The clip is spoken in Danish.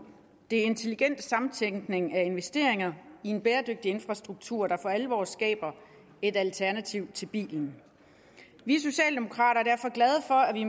det er intelligent samtænkning af investeringer i en bæredygtig infrastruktur der for alvor skaber et alternativ til bilen vi socialdemokrater